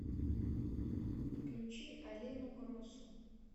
включи алину гросу